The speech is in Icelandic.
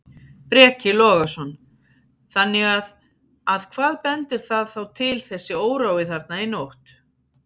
Breki Logason: Þannig að, að hvað bendir það þá til þessi órói þarna í nótt?